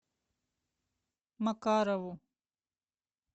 макарову